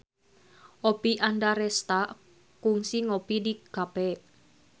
Oppie Andaresta kungsi ngopi di cafe